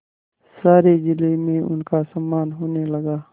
सारे जिले में उनका सम्मान होने लगा